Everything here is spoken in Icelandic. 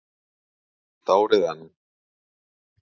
Eitt árið enn.